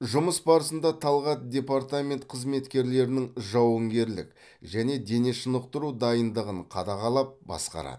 жұмыс барысында талғат департамент қызметкерлерінің жауынгерлік және дене шынықтыру дайындығын қадағалап басқарады